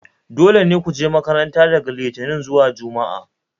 dole ne ku je makarnta daga Litinin zuwa Juma'a